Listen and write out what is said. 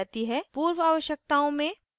पूर्व आवश्यकताओं में